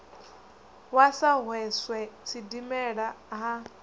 wa sa hweswe sidimela ha